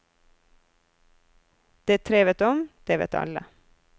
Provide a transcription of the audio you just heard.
Det tre vet om, det vet alle.